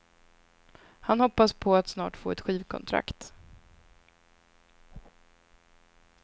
Han hoppas på att snart få ett skivkontrakt.